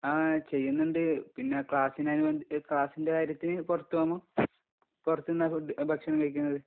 ആ, ചെയ്യുന്നുണ്ട്... പിന്നെ ക്ലാസിനൊക്കെ വേണ്ടീട്ട്... ക്ലാസ്സിന്റെ കാര്യത്തിനു പുറത്ത് പോകുമ്പോ പുറത്ത് ന്നാ ഫുഡ്‌.. ഭക്ഷണം കഴിക്കുന്നത്.